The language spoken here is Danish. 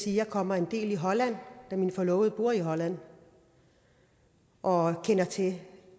jeg kommer en del i holland da min forlovede bor i holland og kender til